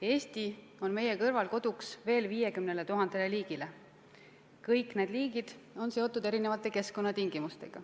Eesti on meie kõrval koduks veel 50 000 liigile, kõik need liigid on seotud erinevate keskkonnatingimustega.